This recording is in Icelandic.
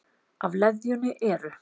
Af leðjunni eru